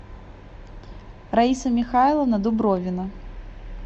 раиса михайловна дубровина